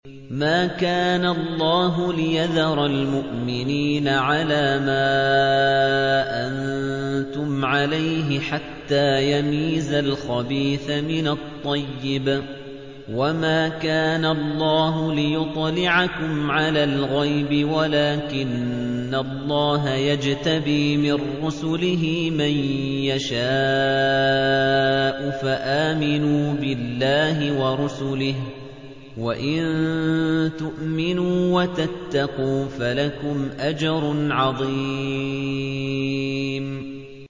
مَّا كَانَ اللَّهُ لِيَذَرَ الْمُؤْمِنِينَ عَلَىٰ مَا أَنتُمْ عَلَيْهِ حَتَّىٰ يَمِيزَ الْخَبِيثَ مِنَ الطَّيِّبِ ۗ وَمَا كَانَ اللَّهُ لِيُطْلِعَكُمْ عَلَى الْغَيْبِ وَلَٰكِنَّ اللَّهَ يَجْتَبِي مِن رُّسُلِهِ مَن يَشَاءُ ۖ فَآمِنُوا بِاللَّهِ وَرُسُلِهِ ۚ وَإِن تُؤْمِنُوا وَتَتَّقُوا فَلَكُمْ أَجْرٌ عَظِيمٌ